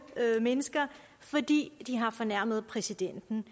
mennesker fordi de har fornærmet præsidenten